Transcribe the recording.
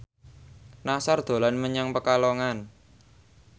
Nassar dolan menyang Pekalongan